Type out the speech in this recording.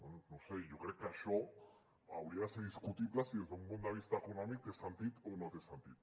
bé no ho sé jo crec que això hauria de ser discutible si des d’un punt de vista econòmic té sentit o no té sentit